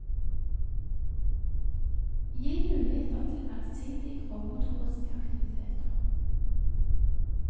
Gi muligheter til allsidige grovmotoriske aktiviteter.